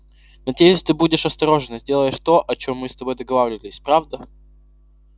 надеюсь ты будешь осторожен и сделаешь то о чём мы с тобой договорились правда